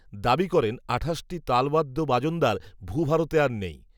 দাবি করেন আঠাশটি তালবাদ্য বাজনদার ভূভারতে আর নেই